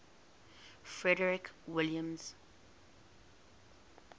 frederick william